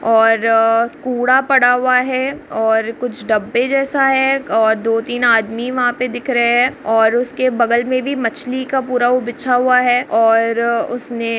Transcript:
और कूड़ा पड़ा हुआ है और कुछ डब्बे जैसा है और दो-तीन आदमी वहां पे दिख रहे है और उसके बगल में भी मछली का पूरा वो बिछा हुआ है और उसने --